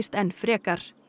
enn frekar